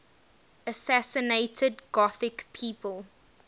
assassinated gothic people